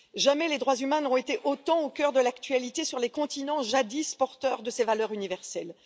Jamais les droits humains n'auront été autant au coeur de l'actualité sur les continents jadis porteurs de ces valeurs universelles.